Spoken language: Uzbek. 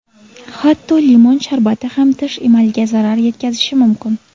Hatto limon sharbati ham tish emaliga zarar yetkazishi mumkin.